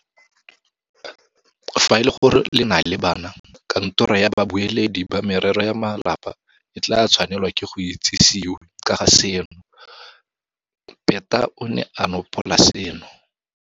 Fa e le gore le na le bana, Katoro ya Babueledi ba Merero ya Malapa e tla tshwanelwa ke go itsisiwe ka ga seno, Peta o ne a nopola seno.